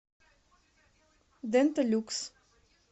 дента люкс